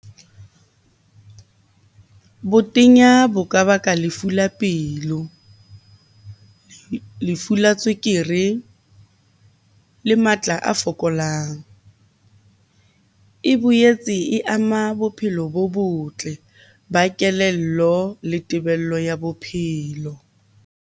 Botenya bo ka baka lefu la pelo, lefu la tswekere le matla tla a fokolang. E boetse e ama bophelo bo botle ba kelello le tebello ya bophelo.